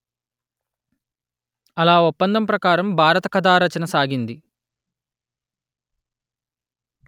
అలా ఒప్పందం ప్రకారం భారత కథా రచన సాగింది